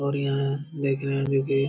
और यहाँ देख रहे है जो की --